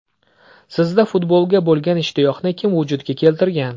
Sizda futbolga bo‘lgan ishtiyoqni kim vujudga keltirgan?